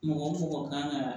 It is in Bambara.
Mɔgɔ mɔgɔ kan ka